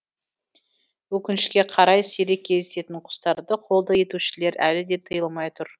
өкінішке қарай сирек кездесетін құстарды қолды етушілер әлі де тыйылмай отыр